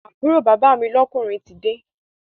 Àbúrò bàbá mi lọ́kùnrin tide